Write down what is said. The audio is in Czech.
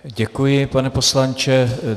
Děkuji, pane poslanče.